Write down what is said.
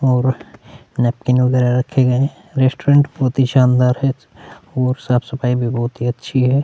और नैपकिन वगैरा रखे गये रेस्टोरेंट बहुत ही शानदार है और साफ-सफाई भी बहुत ही अच्छी है।